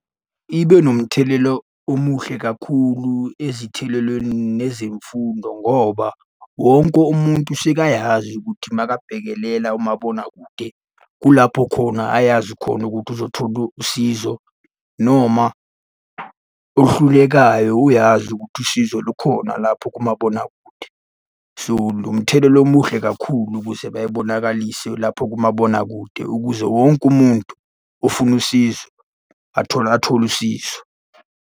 Ibe nomthelela omuhle kakhulu ezithelelweni nezemfundo ngoba wonke umuntu usekayazi ukuthi makabhekelela umabonakude kulapho khona ayazi khona ukuthi uzothola usizo noma oluhlulekayo uyazi ukuthi usizo lukhona lapho kumabonakude. So, umthelela omuhle kakhulu ukuze bebonakalise lapho kumabonakude ukuze wonke umuntu ofuna usizo athole athole usizo.